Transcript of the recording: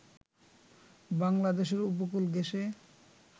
বাংলাদেশের উপকূল ঘেঁষে